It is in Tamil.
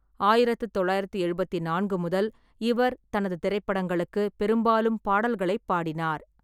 ஆயிரத்து தொள்ளாயிரத்து எழுபத்து நான்கு முதல் இவர் தனது திரைப்படங்களுக்கு பெரும்பாலும் பாடல்களைப் பாடினார்.